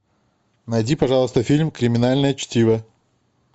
найди пожалуйста фильм криминальное чтиво